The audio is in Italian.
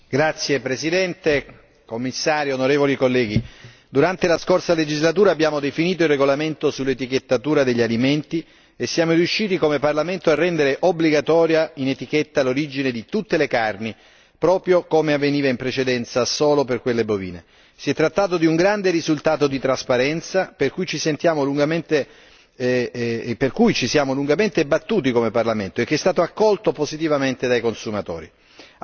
Signor Presidente, onorevoli colleghi, signor Commissario, durante la scorsa legislatura abbiamo definito il regolamento sull'etichettatura degli alimenti e siamo riusciti come Parlamento a rendere obbligatoria in etichetta l'origine di tutte le carni, proprio come avveniva in precedenza solo per quelle bovine. Si è trattato di un grande risultato di trasparenza, per cui ci siamo lungamente battuti come Parlamento e che è stato accolto positivamente dai consumatori.